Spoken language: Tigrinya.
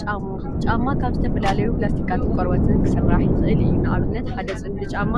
ጫማ ጫማ ካብ ዝተፈላለዩ ፕላስቲካትን ቆርበትን ክስራሕ ይክእል እዩ፡፡ ንአብነት ሓደ ፅምዲ ጫማ